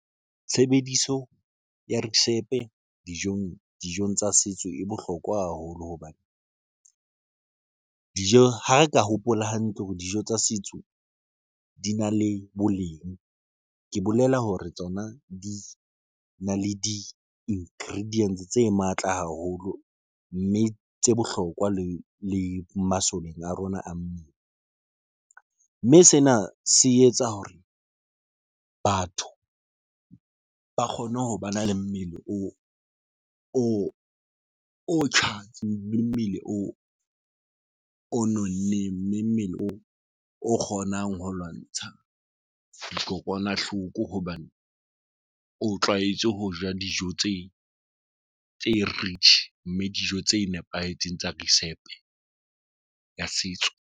Tshebediso ya resepe dijong tsa setso e bohlokwa haholo hobane ha re ka hopola hantle hore dijo tsa setso di na le boleng, ke bolela hore tsona di na le di-ingredients tse matla haholo mme tse bohlokwa le le masoleng a rona a mmele, mme sena se etsa hore batho ba kgone ho ba na le mmele tjhatsi mmele o nonneng mme mmele oo o kgonang ho lwantsha dikokwanahloko hobane o tlwaetse ho ja dijo tse tse rich, mme dijo tse nepahetseng tsa risepe ya setso.